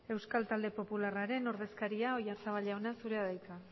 euskal talde popularraren ordezkaria oyarzabal jauna zurea da hitza